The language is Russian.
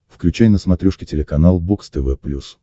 включай на смотрешке телеканал бокс тв плюс